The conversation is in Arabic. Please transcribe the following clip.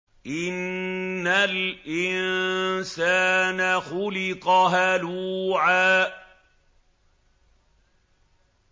۞ إِنَّ الْإِنسَانَ خُلِقَ هَلُوعًا